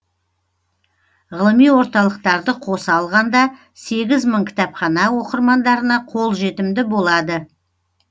ғылыми орталықтарды қоса алғанда сегіз мың кітапхана оқырмандарына қолжетімді болады